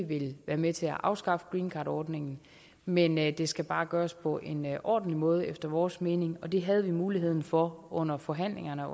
vil være med til at afskaffe greencardordningen men men det skal bare gøres på en ordentlig måde efter vores mening det havde vi muligheden for under forhandlingerne